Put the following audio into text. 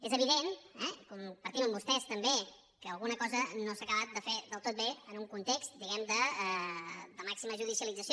és evident eh que compartim amb vostès també que alguna cosa no s’ha acabat de fer del tot bé en un context diguem ne de màxima judicialització